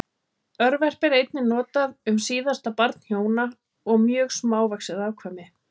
Örverpi er einnig notað um síðasta barn hjóna og mjög smávaxið afkvæmi.